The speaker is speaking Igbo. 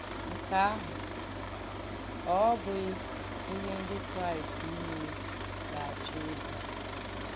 Nkè àhụ́ ọ́ bụ̀ghí ìhé Ndí Kráìst nìlè gà-àchọ̀ ìbù?